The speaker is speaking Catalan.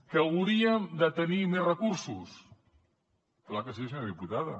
que hauríem de tenir més recursos és clar que sí senyora diputada